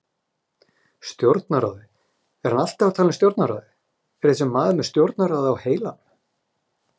Stjórnarráðið, er hann alltaf að tala um stjórnarráðið, er þessi maður með stjórnarráðið á heilanum?